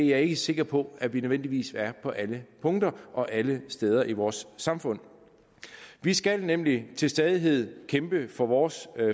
jeg ikke sikker på at vi nødvendigvis er på alle punkter og alle steder i vores samfund vi skal nemlig til stadighed kæmpe for vores